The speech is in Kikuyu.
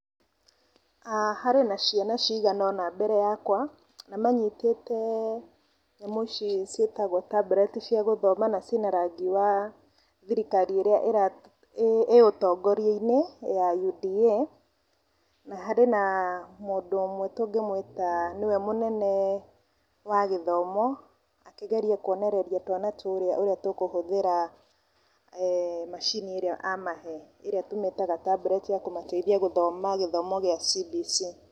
ah harĩ na ciana ciganona mbere yakwa na manyitĩte nyamũ ici ciĩtagwo tableti cia gũthoma na cina rangi wa thirikari ĩrĩa ĩ ũtongoria-inĩ ya UDA, na harĩ na mũndũ ũmwe tũngĩmwĩta nĩwe mũnene wa gĩthomo akĩgeria kwonereria twana tũrĩa kũhũthĩra macini ĩrĩa amahee , ĩrĩa tũmĩtaga tabreti ya kũmateithia gũthoma gĩthomo gĩa CBC.